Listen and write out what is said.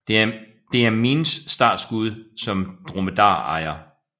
Det er Miins startskud som dromedarejer